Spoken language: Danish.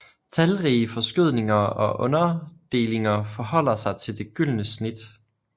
Talrige forskydninger og underdelinger forholder sig til det gyldne snit